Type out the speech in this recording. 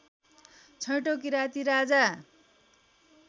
छैटौ Kirati Raja